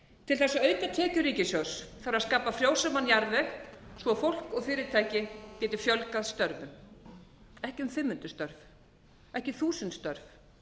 til þess að auka tekjur ríkissjóðs þarf að skapa frjósaman jarðveg svo fólk og fyrirtæki geti fjölgað störfum ekki um fimm hundruð störf ekki þúsund störf